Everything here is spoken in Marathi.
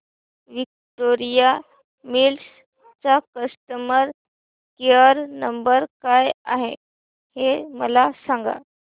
विक्टोरिया मिल्स चा कस्टमर केयर नंबर काय आहे हे मला सांगा